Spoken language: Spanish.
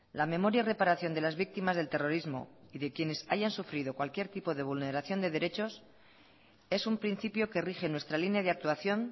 la memoria y reparación de las víctimas del terrorismo y de quienes hayan sufrido cualquier tipo de vulneración de derechos es un principio que rige nuestra línea de actuación